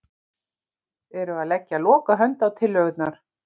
Eru að leggja lokahönd á tillögurnar